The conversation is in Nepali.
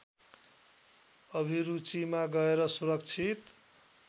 अभिरुचिमा गएर सुरक्षित